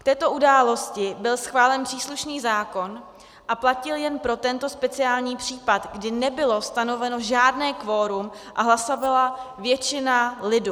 K této události byl schválen příslušný zákon a platil jen pro tento speciální případ, kdy nebylo stanoveno žádné kvorum a hlasovala většina lidu.